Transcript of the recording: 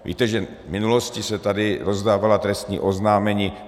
Víte, že v minulosti se tady rozdávala trestní oznámení.